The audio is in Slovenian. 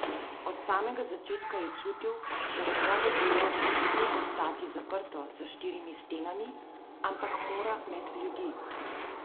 Od samega začetka je čutil, da njegovo delo ne sme ostati zaprto za štirimi stenami, ampak mora med ljudi.